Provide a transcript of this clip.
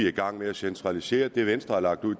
i gang med at centralisere igen det er netop